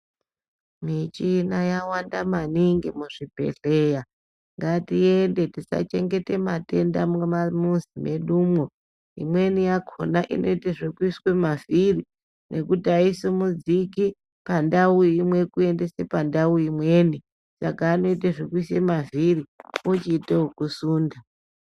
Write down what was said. Michina yawanda maningi muzvibhehleya. Ngatiende tisachengete matenda mumamuzi mwedumwo, imweni yakhona inoite zvekuiswe mavhiri nekuti aisimudziki pandau imwe kuendese pandau imweni saka anoite zvekuise mavhiri ochiito ekusinda.